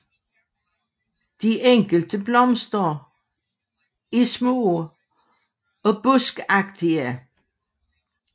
De enkelte blomster er små og bruskagtige